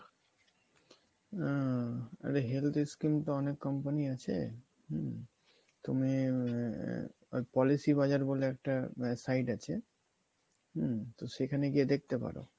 আহ আরে health scheme তো অনেক company আছে হুম? তুমি আহ Policy Bazar বলে একটা আহ site আছে হুম? তো সেখানে গিয়ে দেখতে পারো।